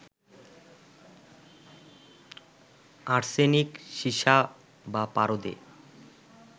arsenic, সীসা বা পারদে